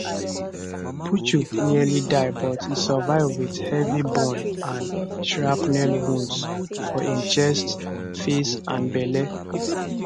puchu nearly die but e survive wit heavy burn and shrapnel wound for im chest face and belle